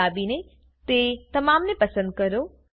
CTRLA દાબીને તે તમામને પસંદ કરો